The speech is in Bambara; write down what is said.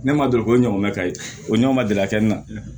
Ne ma deli k'o ɲɔgɔn mɛn ka ye o ɲɔgɔn ma deli ka kɛ ne na